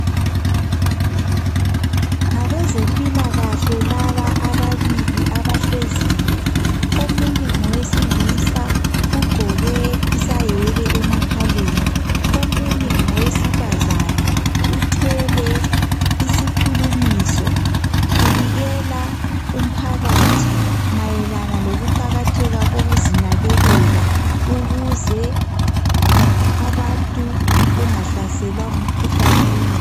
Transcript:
Ngabezempilakahle laba ababili abahleziyo omunye ngowesilisa ugqoke isayeke emakhaleni, omunye ngowesifazana uthwele isikhulumiso ubikela umphakathi mayelana lokuqakatheka kokuzinakekela ukuze abantu bengahlaselwa ngumkhuhlane wengqondo.